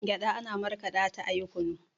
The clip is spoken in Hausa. gyaɗa ana makaɗa ta ayi kunu